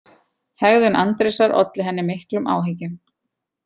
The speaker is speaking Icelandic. Hegðun Andrésar olli henni miklum áhyggjum: